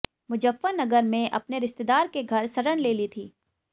मुजफ्फरनगर में अपने रिश्तेदार के घर शरण ले ली थी